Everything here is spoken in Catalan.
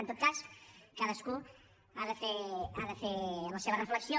en tot cas cadascú ha de fer la seva reflexió